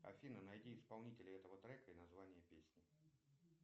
афина найди исполнителя этого трека и название песни